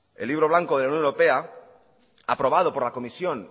el libro blanco de la unión europea aprobado por la comisión